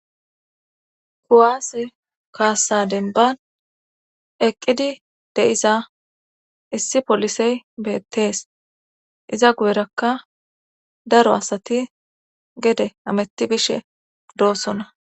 Kuwaase kaassaden ban eqqidi de'iza issi polisey beettees iza guyerakka daro asati gede ametti bishe doossona.